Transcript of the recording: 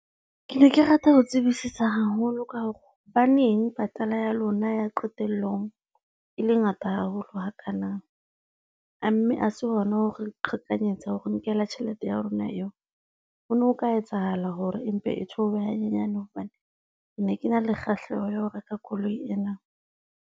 Ke ne ke rata ho tsebisisa haholo ka hore hobaneng patala ya lona ya qetellong, e le ngata haholo hakana, a mme a se hona hore re qhekanyetsa hore nkela tjhelete ya rona eo. Ho no ho ka etsahala hore empe e theohe hanyenyane hobane ne ke na le kgahleho ya ho reka koloi ena.